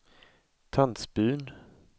Tandsbyn